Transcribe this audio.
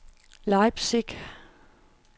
Leipzig